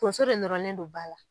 Tonso de nɔrɔlen don ba la.